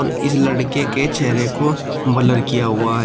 इस लड़के के चेहरे को ब्लर किया हुआ है।